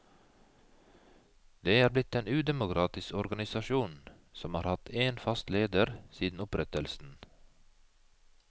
Det er blitt en udemokratisk organisasjon, som har hatt én fast leder siden opprettelsen.